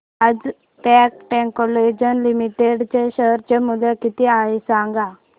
आज Cat Technologies Limited चे share चे मूल्य किती आहे सांगा